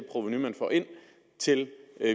er